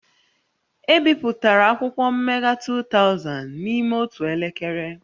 E bipụtara akwụkwọ mmega 2000 n'ime otu elekere